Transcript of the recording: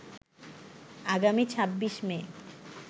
আগামী ২৬ মে